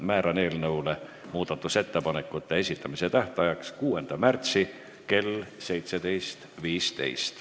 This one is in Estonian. Määran eelnõu muudatusettepanekute esitamise tähtajaks 6. märtsi kell 17.15.